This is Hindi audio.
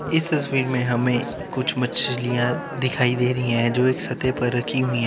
इस तस्वीर में हमें कुछ मछलियां दिखाई दे रही हैं जो एक सतह पर रखी हुई है।